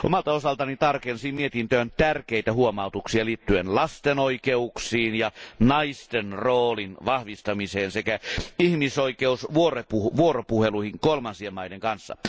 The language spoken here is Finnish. Omalta osaltani tarkensin mietintöön tärkeitä huomautuksia liittyen lasten oikeuksiin ja naisten roolin vahvistamiseen sekä ihmisoikeusvuoropuheluihin kolmansien maiden kanssa.